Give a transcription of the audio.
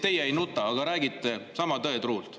Teie ei nuta, aga räägite sama tõetruult.